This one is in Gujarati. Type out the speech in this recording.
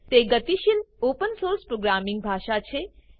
તે ગતિશીલ ઓપન સોર્સ પ્રોગ્રામિંગ ભાષા છે